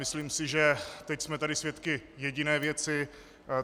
Myslím si, že teď jsme tady svědky jediné věci.